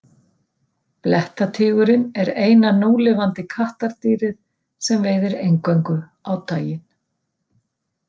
Blettatígurinn er eina núlifandi kattardýrið sem veiðir eingöngu á daginn.